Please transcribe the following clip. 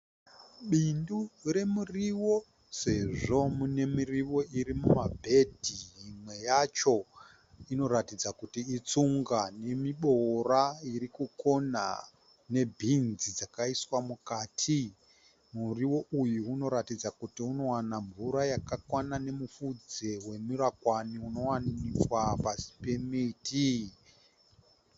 Bindu remuriwo Sezvo mune miriwo iri muma bhedhi. Imwe yacho inoratidza kuti itsunga nemiboora irikukona ne bhinzi dzakaiswa mukati. Muriwo uyu unoratidza kuti unowana mvura yakakwana, nemupfudze wemurakwani unowanikwa pasi pemiti.